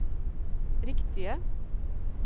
riktige